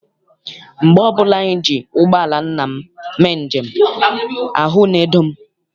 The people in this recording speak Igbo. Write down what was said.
Mgbe ọbụla anyị ji ụgbọala nna m mee njem, ahụ na-edo m.